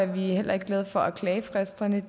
vi heller ikke glade for at klagefristerne